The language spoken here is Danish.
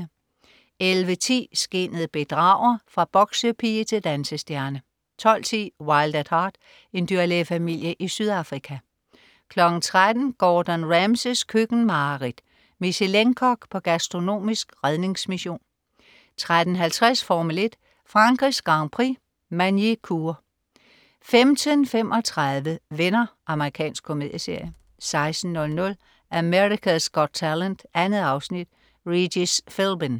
11.10 Skinnet bedrager. Fra boksepige til dansestjerne 12.10 Wild at Heart. En dyrlægefamilie i Sydafrika 13.00 Gordon Ramsays køkkenmareridt. Michelin-kok på gastronomisk redningsmission 13.50 Formel 1: Frankrigs Grand Prix, Magny-Cours 15.35 Venner. Amerikansk komedieserie 16.00 America's Got Talent. 2 afsnit. Regis Philbin